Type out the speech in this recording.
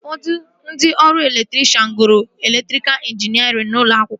Ụfọdụ ndị ọrụ elektrikshan gụrụ elektrikal injiniarịn n'ụlọ akwụkwọ